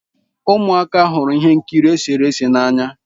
Ụmụaka hụrụ ihe nkiri eserese n'anya.